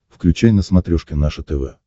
включай на смотрешке наше тв